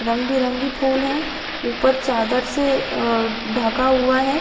रंग -बिरंगी फूल है ऊपर चादर से अ ढका हुआ हैं ।